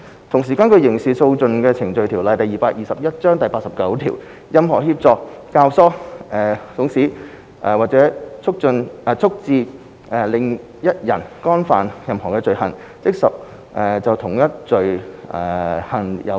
同時，根據《刑事訴訟程序條例》第89條，任何人協助、教唆、慫使或促致另一人干犯任何罪行，即屬就同一罪行有罪。